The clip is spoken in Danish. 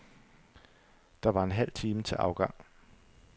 Der var en halv time til afgang.